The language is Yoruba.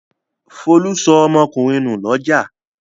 Folú sọ ọmọkùnrin nù lọ́jà.